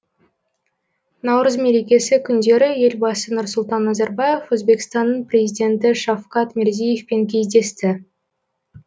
наурыз мерекесі күндері елбасы нұрсұлтан назарбаев өзбекстанның президенті шавкат мирзияевпен кездесті